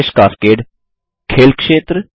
fish cascade - खेल क्षेत्र